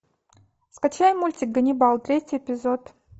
скачай мультик ганнибал третий эпизод